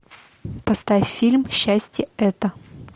поставь фильм счастье это